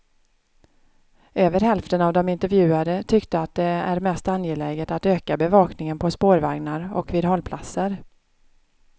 Över hälften av de intervjuade tyckte att det är mest angeläget att öka bevakningen på spårvagnar och vid hållplatser.